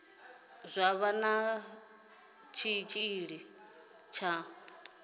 zwa vha na tshitshili tsha